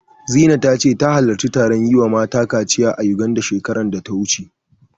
Zina ta ce, ta halarci taron yi wa mata kaciya a Yuganda, shekarar da ta wuce.